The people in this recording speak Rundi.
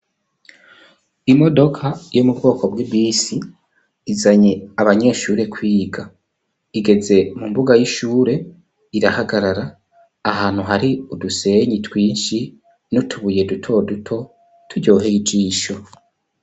Imodoka yo mu bwoko bw'ibisi izanye abanyeshuri kwiga, igeze mu mbuga y'ishure irahagarara ahantu hari udusenyi twinshi n'utubuye duto duto turyoheye ijisho.